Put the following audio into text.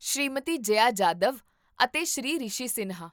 ਸ਼੍ਰੀਮਤੀ ਜਯਾ ਜਾਧਵ ਅਤੇ ਸ਼੍ਰੀ ਰਿਸ਼ੀ ਸਿਨਹਾ